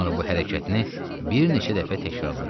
Sonra bu hərəkətini bir neçə dəfə təkrarladı.